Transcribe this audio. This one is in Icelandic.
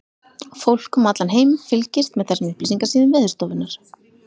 Fólk um allan heim fylgist með þessum upplýsingasíðum Veðurstofunnar.